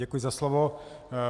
Děkuji za slovo.